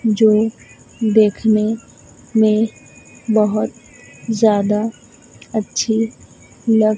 जो देखने में बहोत ज्यादा अच्छी लग--